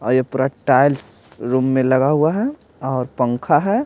और ये पूरा टाइल्स रूम में लगा हुआ है और पंखा है।